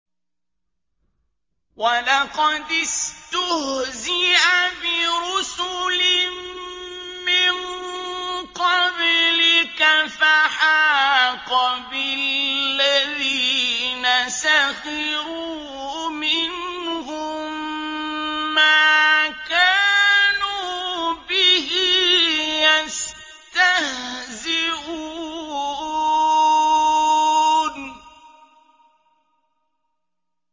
وَلَقَدِ اسْتُهْزِئَ بِرُسُلٍ مِّن قَبْلِكَ فَحَاقَ بِالَّذِينَ سَخِرُوا مِنْهُم مَّا كَانُوا بِهِ يَسْتَهْزِئُونَ